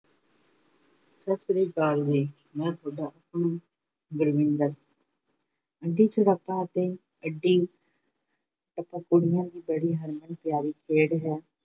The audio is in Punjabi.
ਸਤਿ ਸ੍ਰੀ ਅਕਾਲ ਜੀ, ਮੈਂ ਤੁਹਾਡਾ ਆਪਣਾ ਗੁਰਵਿੰਦਰ, ਅੱਡੀ ਛੜੱਪਾ ਅਤੇ ਅੱਡੀ ਟੱਪਾ ਕੁੜੀਆਂ ਦੀ ਬੜੀ ਹਰਮਨ ਪਿਆਰੀ ਖੇਡ ਹੈ।